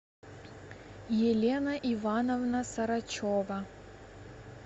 елена ивановна сарачева